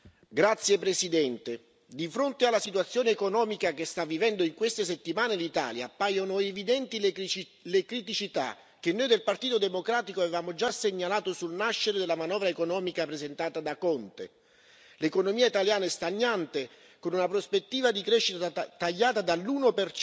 Signor Presidente, onorevoli colleghi, di fronte alla situazione economica che sta vivendo in queste settimane l'Italia, appaiono evidenti le criticità che noi del Partito Democratico avevamo già segnalato sul nascere della manovra economica presentato da Conte. L'economia italiana è stagnante, con una prospettiva di crescita tagliata dall'1